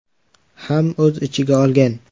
ham o‘z ichiga olgan.